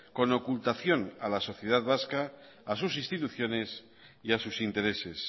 con ocultación a la sociedad vasca a sus instituciones y a sus intereses